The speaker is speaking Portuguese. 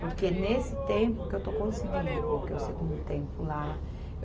Porque nesse tempo que eu estou conseguindo, coloquei o segundo tempo lá.